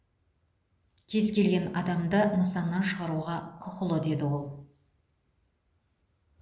кез келген адамды нысаннан шығаруға құқылы деді ол